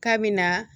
K'a bɛ na